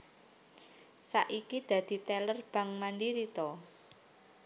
Saiki dadi teller Bank Mandiri to?